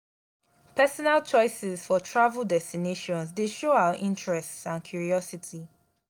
personal choices for travel destinations dey show our interests and curiosity.